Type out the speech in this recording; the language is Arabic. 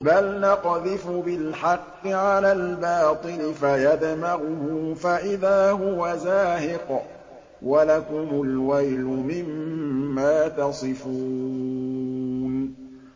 بَلْ نَقْذِفُ بِالْحَقِّ عَلَى الْبَاطِلِ فَيَدْمَغُهُ فَإِذَا هُوَ زَاهِقٌ ۚ وَلَكُمُ الْوَيْلُ مِمَّا تَصِفُونَ